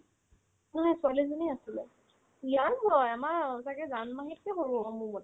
নাই ছোৱালি এজনি আছিলে young হয় আমাৰ অ ছাগে জান মাহীতকৈও সৰু হ'ব মোৰমতে